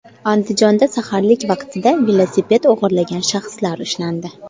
Andijonda saharlik vaqtida velosiped o‘g‘irlagan shaxslar ushlandi.